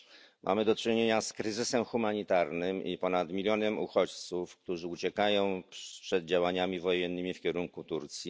Po pierwsze mamy do czynienia z kryzysem humanitarnym i ponad milionem uchodźców, którzy uciekają przed działaniami wojennymi w kierunku Turcji.